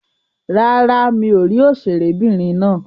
Rárá, mi ò rí òṣèré'bìnrin náà.